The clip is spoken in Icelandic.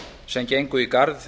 sem gengu í garð